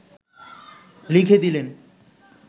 লিখে দিলেন